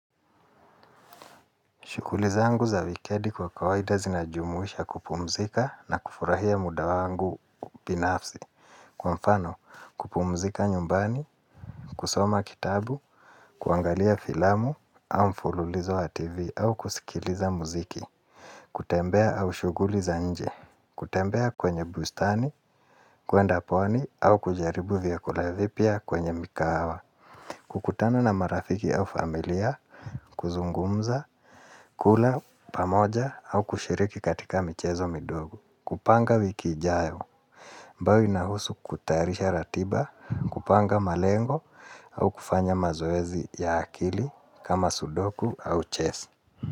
Shughuli zangu za wikendi kwa kawaida zinajumuisha kupumzika na kufurahia muda wangu binafsi. Kwa mfano kupumzika nyumbani, kusoma kitabu, kuangalia filamu au mfululizo wa tv au kusikiliza muziki kutembea au shughuli za nje, kutembea kwenye bustani, kuenda pwani au kujaribu vakola vipia kwenye mikahawa kukutana na marafiki au familia, kuzungumza, kula pamoja au kushiriki katika michezo midogo. Kupanga wiki ijayo, ambayo inahusu kutayarisha ratiba, kupanga malengo au kufanya mazoezi ya akili kama sudoku au chess.